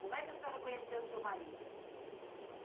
Como é que a senhora conheceu o seu marido?